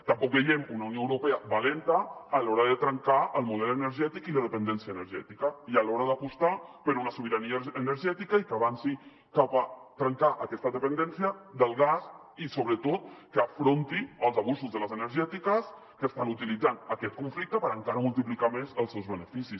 tampoc veiem una unió europea valenta a l’hora de trencar el model energètic i la dependència energètica i a l’hora d’apostar per una sobirania energètica i que avanci cap a trencar aquesta dependència del gas i sobretot que afronti els abusos de les energètiques que estan utilitzant aquest conflicte per encara multiplicar més els seus beneficis